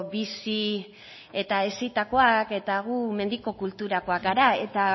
bizi eta hezitakoa eta gu mendiko kulturakoak gara eta